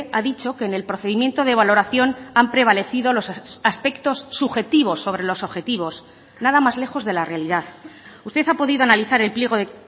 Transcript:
ha dicho que en el procedimiento de valoración han prevalecido los aspectos subjetivos sobre los objetivos nada más lejos de la realidad usted ha podido analizar el pliego de